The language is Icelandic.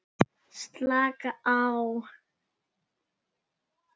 Slaka á?